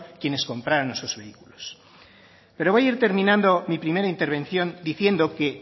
quienes compraron esos vehículos pero voy a ir terminando mi primera intervención diciendo que